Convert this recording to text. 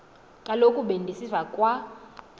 kaloku bendisiva kwa